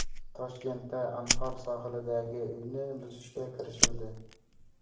Toshkentda Anhor sohilidagi uyni buzishga kirishildi.